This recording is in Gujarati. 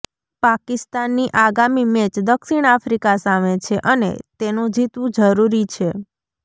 પાકિસ્તાનની આગામી મેચ દક્ષિણ આફ્રિકા સામે છે અને તેનું જીતવું જરૂરી છે